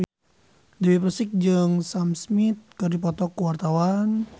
Dewi Persik jeung Sam Smith keur dipoto ku wartawan